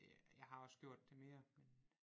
Det jeg har også gjort det mere men